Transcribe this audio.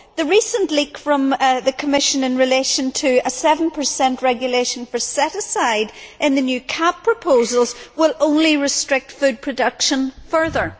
The recent leak from the Commission in relation to a 7 regulation for set aside in the new CAP proposals will only restrict food production further.